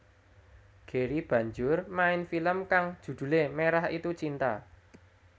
Gary banjur main film kang judhulé Merah Itu Cinta